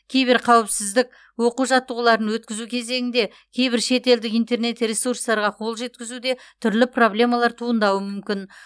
киберқауіпсіздік оқу жаттығуларын өткізу кезеңінде кейбір шетелдік интернет ресурстарға қол жеткізуде түрлі проблемалар туындауы мүмкін